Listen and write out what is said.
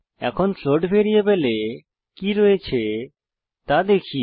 এখন ফ্লোট ভ্যারিয়েবলে কি রয়েছে তা দেখি